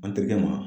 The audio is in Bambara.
An terikɛ ma